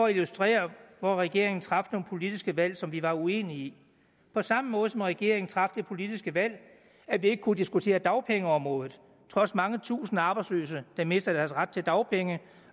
illustration af hvor regeringen traf nogle politiske valg som vi er uenige i på samme måde som regeringen traf det politiske valg at vi ikke kunne diskutere dagpengeområdet trods mange tusinde arbejdsløse der mister deres ret til dagpenge